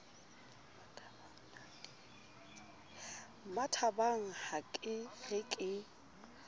mmathabang ha ke re ke